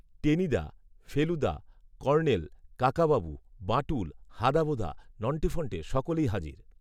Tenida, Feluda, colonel, Kakababu, Bantul, হাঁদাভোঁদা, নন্টে ফন্টে সকলেই হাজির